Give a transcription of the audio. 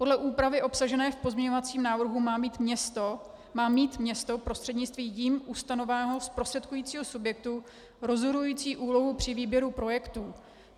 Podle úpravy obsažené v pozměňovacím návrhu má mít město prostřednictvím jím ustanoveného zprostředkujícího subjektu rozhodující úlohu při výběru projektů.